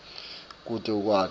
kute kutsi ukwati